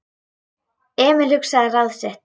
Emil hugsaði ráð sitt.